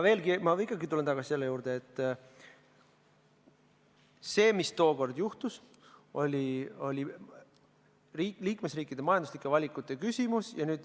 Ma ikkagi tulen tagasi selle juurde, et see, mis tookord juhtus, oli liikmesriikide majanduslike valikute küsimus.